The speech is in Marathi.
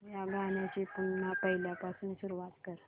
या गाण्या ची पुन्हा पहिल्यापासून सुरुवात कर